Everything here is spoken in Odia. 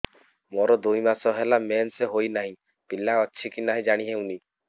ମୋର ଦୁଇ ମାସ ହେଲା ମେନ୍ସେସ ହୋଇ ନାହିଁ ପିଲା ଅଛି କି ନାହିଁ ଜାଣି ହେଉନି